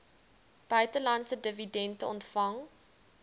buitelandse dividende ontvang